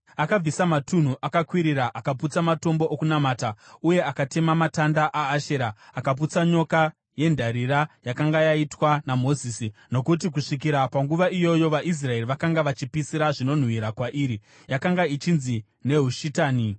Akabvisa matunhu akakwirira, akaputsa matombo okunamata, uye akatema matanda aAshera. Akaputsa nyoka yendarira yakanga yaitwa naMozisi, nokuti kusvikira panguva iyoyo vaIsraeri vakanga vachipisira zvinonhuhwira kwairi. (Yakanga ichinzi Nehushitani.)